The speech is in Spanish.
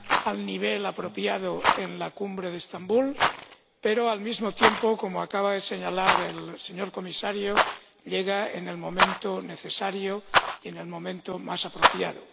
al nivel apropiado en la cumbre de Estambul, pero, al mismo tiempo —como acaba de señalar el señor Comisario—, llega en el momento necesario, en el momento más apropiado.